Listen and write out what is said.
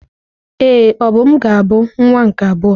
Ee, Obum ga-abụ nwa nke abụọ.